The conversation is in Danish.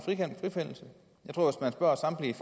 spørger samtlige